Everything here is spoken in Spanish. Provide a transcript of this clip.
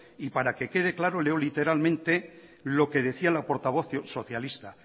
y para que quede claro leo literalmente lo que decía la portavoz socialista